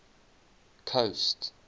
coast